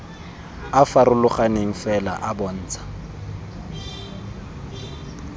a farologaneng fela a bontsha